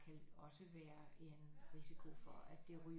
Kan også være en risiko for at det ryger